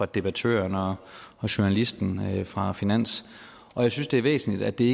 debattøren og journalisten fra finans og jeg synes det er væsentligt at det